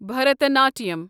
بھرتناٹِیم